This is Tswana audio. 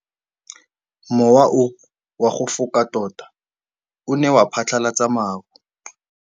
Mowa o wa go foka tota o ne wa phatlalatsa maru.